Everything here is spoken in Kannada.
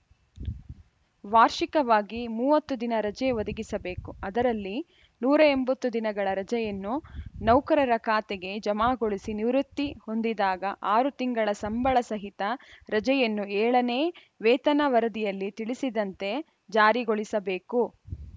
ವಾರ್ಷಿಕವಾಗಿ ಮೂವತ್ತು ದಿನ ರಜೆ ಒದಗಿಸಬೇಕು ಅದರಲ್ಲಿ ನೂರ ಎಂಬತ್ತು ದಿನಗಳ ರಜೆಯನ್ನು ನೌಕರರ ಖಾತೆಗೆ ಜಮಾಗೊಳಿಸಿ ನಿವೃತ್ತಿ ಹೊಂದಿದಾಗ ಆರು ತಿಂಗಳ ಸಂಬಳ ಸಹಿತ ರಜೆಯನ್ನು ಏಳನೇ ವೇತನ ವರದಿಯಲ್ಲಿ ತಿಳಿಸಿದಂತೆ ಜಾರಿಗೊಳಿಸಬೇಕು